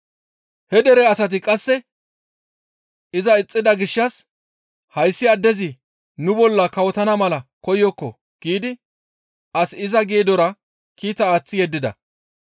«He dere asati qasse iza ixxida gishshas, ‹Hayssi addezi nu bolla kawotana mala koyokko› giidi as iza geedora kiita aaththi yeddida.